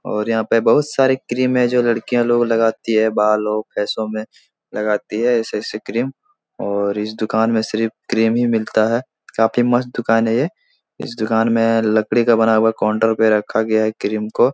और यहाँ पे बहुत सारी क्रीम है जो लड़कियाँ लोग लगाती है बालों फेसो में लगाती है ऐसे-ऐसे क्रीम और इस दुकान मैं सिर्फ क्रीम ही मिलता है। काफी मस्त दुकान है ये। इस दुकान में लकड़ी का बना हुआ काउंटर पे रखा गया है क्रीम को।